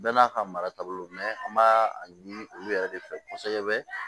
Bɛɛ n'a ka mara taabolo don an b'a a ɲini olu yɛrɛ de fɛ kosɛbɛ